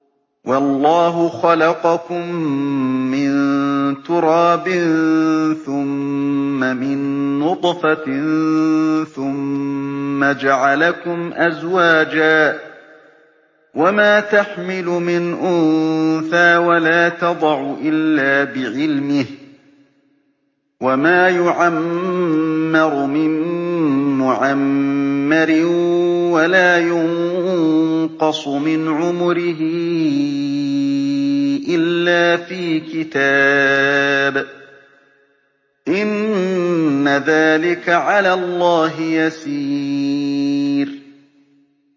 وَاللَّهُ خَلَقَكُم مِّن تُرَابٍ ثُمَّ مِن نُّطْفَةٍ ثُمَّ جَعَلَكُمْ أَزْوَاجًا ۚ وَمَا تَحْمِلُ مِنْ أُنثَىٰ وَلَا تَضَعُ إِلَّا بِعِلْمِهِ ۚ وَمَا يُعَمَّرُ مِن مُّعَمَّرٍ وَلَا يُنقَصُ مِنْ عُمُرِهِ إِلَّا فِي كِتَابٍ ۚ إِنَّ ذَٰلِكَ عَلَى اللَّهِ يَسِيرٌ